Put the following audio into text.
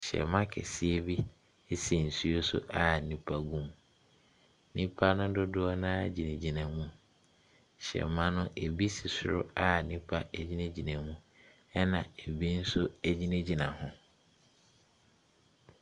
Hyɛmma kɛseɛ bi ɛsi nsuo so a nnipa wɔ mu. Nnipa no dodoɔ no ara ɛgyinagyina mu. Hyɛmma no, ɛbi si soro a nnipa ɛgyinagyina mu, ɛna ɛbi nso ɛgyinagyina ho.